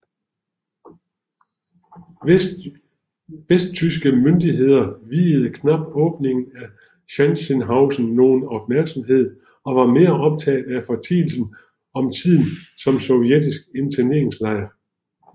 Vesttyske myndigheder viede knapt åbningen af Sachsenhausen nogen opmærksomhed og var mere optaget af fortielsen om tiden som sovjetisk interneringslejr